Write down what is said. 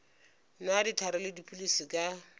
nwa dihlare le dipilisi ka